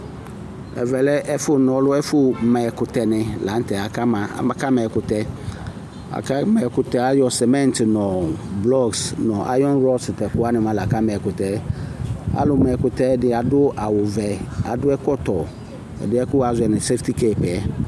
Ɛvɛ lɛ ɛfʋ nɔlʋ Ɛfʋma ɛkʋtɛ ni la nʋtɛ Akama ɛkʋtɛ Ayɔ semɛŋtɩ nʋ blɔkisɩ nʋ ayɔnɩrɔkisɩ, tʋ ɛkʋwani la ayɔ kama ɛkʋtɛ yɛ Alumaekʋtɛ yɛ ni ɛdɩ adu awuvɛ kʋ adʋ ɛkɔtɔ ɛdɩyɛ kʋ wazɔ nʋ sefitikɛtɩ yɛ